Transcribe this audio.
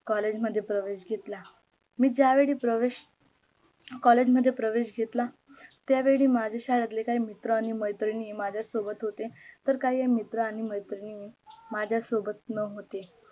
collage मध्ये प्रवेश घेतला मी ज्यावेळी प्रवेश collage मध्ये प्रवेश घेतला त्या वेळी माझ्या शाळेतले काही मित्र आणी मैत्रिणी माझ्या सोबत होते तर काही मित्र आणी मैत्रिणीने माझ्या सोबत नव्हते